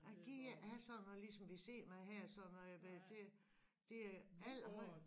Jeg gider ikke have såden noget ligesom vi sidder med her sådan noget det det det allerhøjest